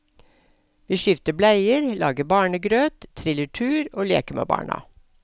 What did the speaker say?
Vi skifter bleier, lager barnegrøt, triller tur og leker med barna.